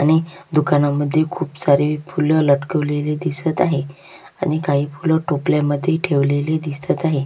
आणि दुकानामध्ये खुप सारे फूल लटकवलेले दिसत आहेत आणि काही फूल टोपल्या मध्ये ठेवलेले दिसत आहे.